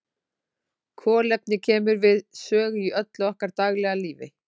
Kolefni kemur við sögu í öllu okkar daglega lífi.